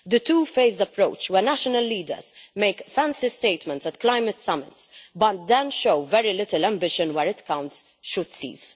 The two-faced approach, where national leaders make fancy statements at climate summits, but then show very little ambition where it counts, should cease.